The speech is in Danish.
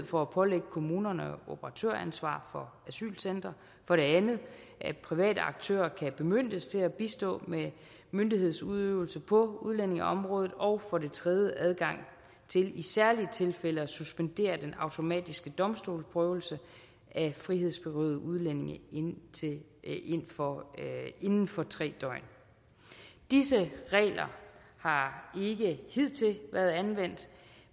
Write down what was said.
for at pålægge kommunerne operatøransvar for asylcentre for det andet at private aktører kan bemyndiges til at bistå med myndighedsudøvelse på udlændingeområdet og for det tredje adgang til i særlige tilfælde at suspendere den automatiske domstolsprøvelse af frihedsberøvede udlændinge inden for inden for tre døgn disse regler har ikke hidtil været anvendt